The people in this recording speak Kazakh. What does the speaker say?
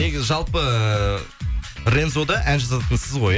негізі жалпы эээ рензода ән жазатын сіз ғой иә